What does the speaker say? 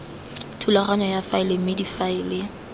thulaganyo ya faele mme difaele